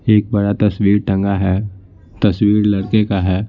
एक बड़ा तस्वीर टंगा है तस्वीर लड़के का है।